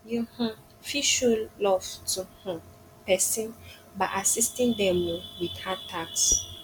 you um fit show love to um pesin by assisting them um with hard tasks